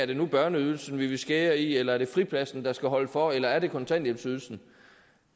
det nu er børneydelsen man vil skære i eller er fripladsen der skal holde for eller er kontanthjælpsydelsen og